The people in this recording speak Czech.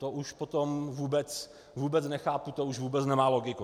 To už potom vůbec nechápu, to už vůbec nemá logiku.